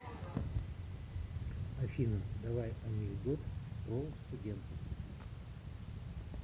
афина давай анекдот про студентов